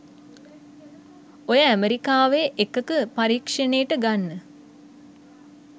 ඔය ඇමරිකාවේ එකක පරීක්ෂනෙට ගන්න